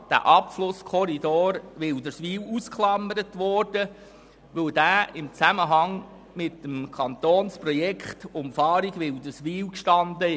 2016 wurde absichtlich der Abschlusskorridor Wilderswil ausgeklammert, weil dieser im Zusammenhang mit dem Kantonsprojekt der Umfahrung von Wilderswil steht.